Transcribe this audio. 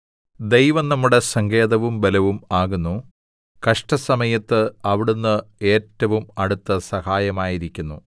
9 ദൈവം നമ്മുടെ സങ്കേതവും ബലവും ആകുന്നു കഷ്ടസമയത്ത് അവിടുന്ന് ഏറ്റവും അടുത്ത സഹായമായിരിക്കുന്നു